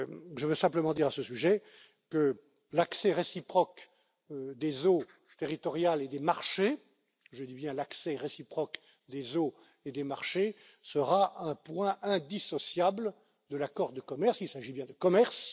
Je veux simplement dire à ce sujet que l'accès réciproque aux eaux territoriales et aux marchés je dis bien l'accès réciproque aux eaux et aux marchés sera un point indissociable de l'accord de commerce, car il s'agit bien de commerce.